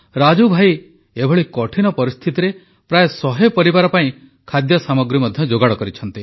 ରାଜୁ ଭାଇ ଏଭଳି କଠିନ ପରିସ୍ଥିତିରେ ପ୍ରାୟ ଶହେ ପରିବାର ପାଇଁ ଖାଦ୍ୟ ସାମଗ୍ରୀ ମଧ୍ୟ ଯୋଗାଡ଼ କରିଛନ୍ତି